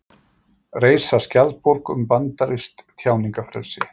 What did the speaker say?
Reisa skjaldborg um bandarískt tjáningarfrelsi